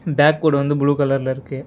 Back board வந்து blue கலர்ல இருக்கு.